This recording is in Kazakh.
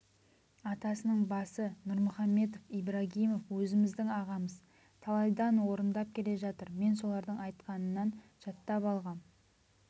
атасының басы нұрмұхамедов ибрагимов өзіміздің ағамыз талайдан орындап келе жатыр мен солардың айтқанынан жаттап алғам